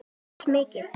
Ég les mikið.